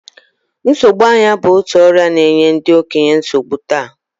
Nsogbu anya bụ otu ọrịa na-enye ndị okenye nsogbu taa